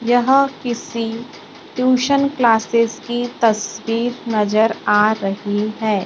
यहां किसी tuition classes की तस्वीर नजर आ रही है।